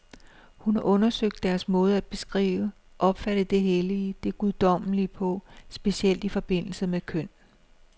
Hun har undersøgt deres måde at beskrive, opfatte det hellige, det guddommelige på, specielt i forbindelse med køn.